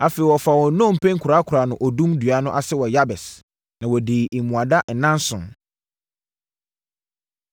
Afei, wɔfaa wɔn nnompe kɔkoraa no odum dua no ase wɔ Yabes, na wɔdii mmuada nnanson.